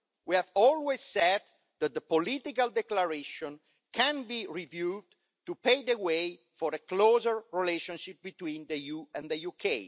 We have always said that the Political Declaration can be reviewed to pave the way for a closer relationship between the EU and the UK.